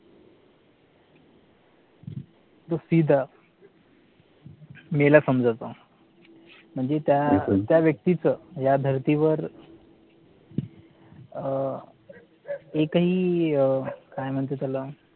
तो सिदा मेला समाजयचा म्हणजे त्या व्यक्तीच या धर्तीवर अह या एकही काय म्हणता त्याला